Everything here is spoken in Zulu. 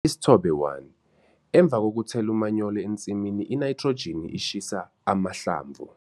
Isithobe 1- Emva kokuthela umanyolo ensimini inayithrojini ishisa amahlamvu.